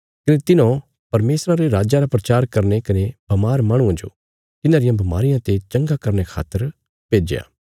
कने तिन्हौं परमेशरा रे राज्जा रा प्रचार करने कने बमार माहणुआं जो तिन्हांरियां बमारियां ते चंगा करने खातर भेज्या